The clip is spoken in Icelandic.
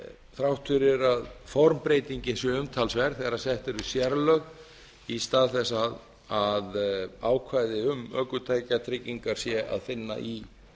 þrátt fyrir að formbreytingin sé umtalsverð þegar sett eru sérlög í stað þess að ákvæði ökutækjatryggingar sé að finna í